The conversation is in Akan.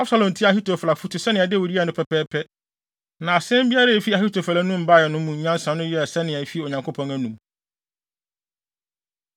Absalom tiee Ahitofel afotu sɛnea Dawid yɛe no pɛpɛɛpɛ. Na asɛm biara a efi Ahitofel anom bae no mu nyansa no yɛɛ sɛnea efi Onyankopɔn anom.